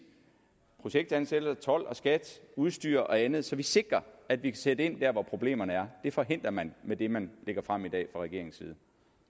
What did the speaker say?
projektansættelser told og skat udstyr og andet så vi sikrer at vi kan sætte ind der hvor problemerne er det forhindrer man med det man lægger frem i dag fra regeringens side